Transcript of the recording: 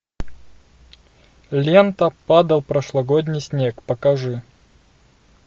лента падал прошлогодний снег покажи